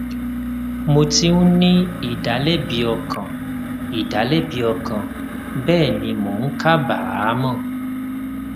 mò ti ń ní ìdálẹbi ọkàn ìdálẹbi ọkàn bẹẹ ni mò ń kábàámọ